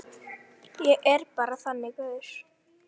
Ég er bara þannig gaur.